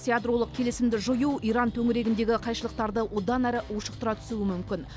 ядролық келісімді жою иран төңірегіндегі қайшылықтарды одан әрі ушықтыра түсуі мүмкін